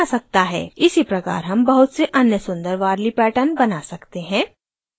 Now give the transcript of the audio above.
इसी प्रकार हम बहुत से अन्य सुन्दर warli patterns बना सकते हैं